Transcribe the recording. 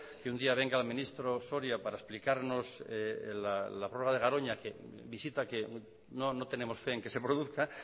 que un día venga el ministro soria para explicarnos la prueba de garoña visita que no tenemos fe en que se produzca